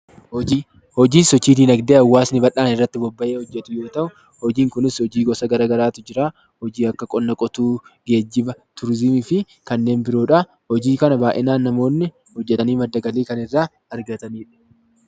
Hojii: Hojiin sochii diinagdee hawaasni bal'aan irratti bobba'ee hojjetu yoo ta'u, hojiin kunis hojii gosa garagaraatu jiraa. Hojii akka qonna qotuu, geejjiba, turizimii fi kanneen biroo dhaa. Hojii kanaan baay'inaan namoonni hojjetanii madda galii kan irraa argatanii dha.